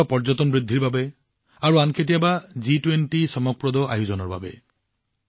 কেতিয়াবা পৰ্যটন বৃদ্ধিৰ বাবে কেতিয়াবা জি২০ৰ দৰ্শনীয় অনুষ্ঠানৰ বাবে